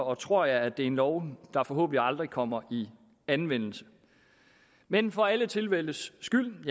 og tror jeg at det er en lov der forhåbentlig aldrig kommer i anvendelse men for alle tilfældes skyld